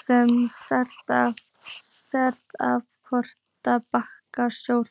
sem Seðlabankastjóra?